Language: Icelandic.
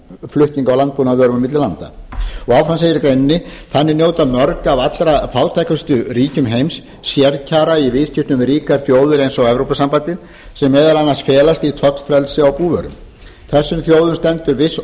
flutning á landbúnaðarvörum á milli landa áfram segir í greininni þannig njóta mörg af allra fátækustu ríkjum heims sérkjara í viðskiptum við ríkar þjóðir eins og evrópusambandið sem meðal annars felast í tollfrelsi á búvörum þessum þjóðum stendur viss ógn